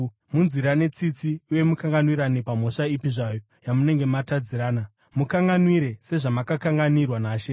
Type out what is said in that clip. Munzwirane tsitsi uye mukanganwirane pamhosva ipi zvayo yamunenge matadzirana. Mukanganwire sezvamakakanganwirwa naShe.